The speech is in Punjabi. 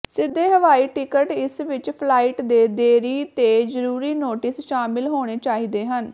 ਸਿੱਧੇ ਹਵਾਈ ਟਿਕਟ ਇਸ ਵਿੱਚ ਫਲਾਈਟ ਦੇ ਦੇਰੀ ਤੇ ਜ਼ਰੂਰੀ ਨੋਟਸ ਸ਼ਾਮਲ ਹੋਣੇ ਚਾਹੀਦੇ ਹਨ